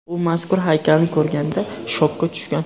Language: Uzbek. U mazkur haykalni ko‘rganida shokka tushgan.